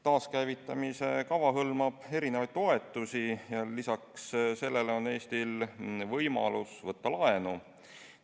Taaskäivitamise kava hõlmab erinevaid toetusi ja lisaks sellele on Eestil võimalus võtta laenu.